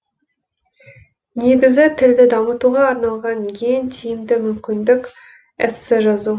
негізі тілді дамытуға арналған ең тиімді мүмкіндік эссе жазу